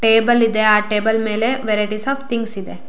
Table ಇದೆ ಆ table ಮೇಲೆ ವೆರೈಟಿಸ್ ಆಫ್ ಥಿಂಗ್ಸ್ ಇದೆ.